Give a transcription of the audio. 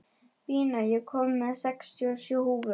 Bína, ég kom með sextíu og sjö húfur!